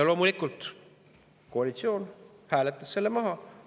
Loomulikult hääletas koalitsioon selle maha.